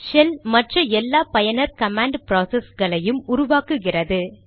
shell மற்ற எல்லா பயனர் கமாண்ட் ப்ராசஸ்களையும் உருவாக்குகிறது